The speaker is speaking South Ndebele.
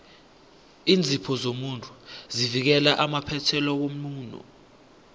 iinzipho zomuntu zivikela amaphethelo womuno